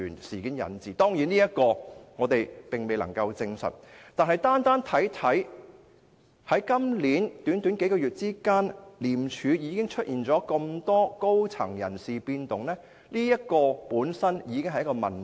雖然我們未能夠證實這說法，但單看今年短短數月間，廉署已出現如此多高層人士的變動，這本身已經是一個問題。